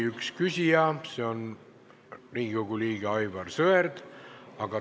Küsijate järjekorras oli Riigikogu liige Aivar Sõerd.